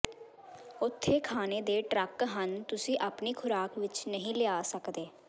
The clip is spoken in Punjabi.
ਉੱਥੇ ਖਾਣੇ ਦੇ ਟਰੱਕ ਹਨ ਤੁਸੀਂ ਆਪਣੀ ਖ਼ੁਰਾਕ ਵਿਚ ਨਹੀਂ ਲਿਆ ਸਕਦੇ